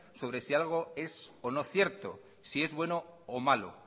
sobre si algo es o no cierto si es bueno o malo